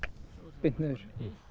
beint niður